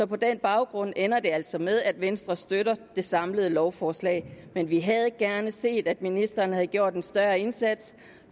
på den baggrund ender det altså med at venstre støtter det samlede lovforslag men vi havde gerne set at ministeren havde gjort en større indsats